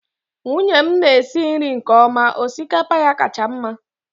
nwunye m na-esi nri nke ọma.. osikapa ya kacha mma